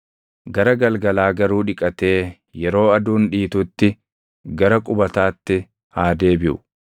Gara galgalaa garuu dhiqatee yeroo aduun dhiitutti gara qubataatti haa deebiʼu.